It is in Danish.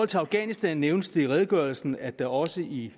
til afghanistan nævnes det i redegørelsen at der også i